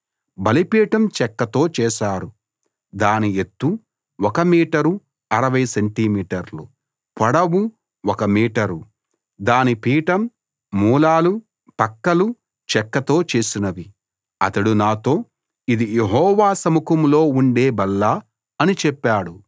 బలిపీఠం చెక్కతో చేశారు దాని ఎత్తు 1 మీటరు 60 సెంటి మీటర్లు పొడవు ఒక మీటరు దాని పీఠం మూలలు పక్కలు చెక్కతో చేసినవి అతడు నాతో ఇది యెహోవా సముఖంలో ఉండే బల్ల అని చెప్పాడు